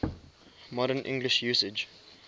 modern english usage